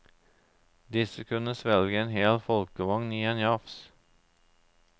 Disse kunne svelge en hel folkevogn i en jafs.